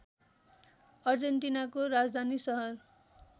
अर्जेन्टिनाको राजधानी सहर